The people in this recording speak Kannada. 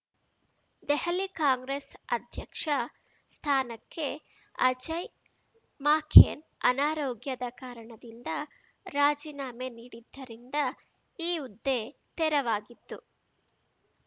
ದೆಹಲಿ ಕಾಂಗ್ರೆಸ್‌ ಅಧ್ಯಕ್ಷ ಸ್ಥಾನಕ್ಕೆ ಅಜಯ್‌ ಮಾಕೆನ್‌ ಅನಾರೋಗ್ಯದ ಕಾರಣದಿಂದ ರಾಜೀನಾಮೆ ನೀಡಿದ್ದರಿಂದ ಈ ಹುದ್ದೆ ತೆರವಾಗಿತ್ತು